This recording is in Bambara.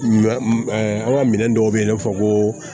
Ɲɔ an ka minɛn dɔw bɛ yen i n'a fɔ ko